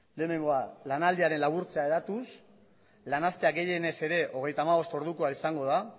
lehenengoa da lanaldiaren laburtzea hedatuz lan astea gehienez ere hogeita hamabost ordukoa izango da